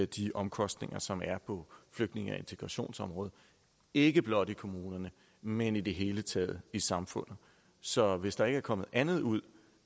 de omkostninger som er på flygtninge og integrationsområdet ikke blot i kommunerne men i det hele taget i samfundet så hvis der ikke er kommet andet ud